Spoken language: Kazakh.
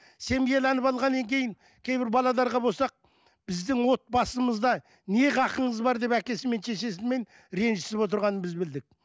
семьяланып алғаннан кейін кейбір болсақ біздің отбасымызда не хақыңыз бар деп әкесімен шешесімен ренжісіп отырғанын біз білдік